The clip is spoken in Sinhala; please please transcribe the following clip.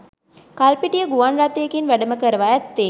කල්පිටිය ගුවන් රථයකින් වැඩම කරවා ඇත්තේ